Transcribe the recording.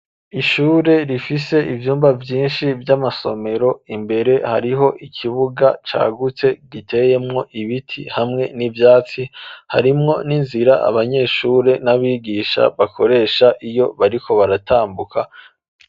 Ishure rifise ivyumba vyinshi vy'amasomero, imbere hariho ikibuga cagutse giteyemwo ibiti hamwe n'ivyatsi, harimwo n'inzira abanyeshure n'abigisha bakoresha iyo bariko baratambuka.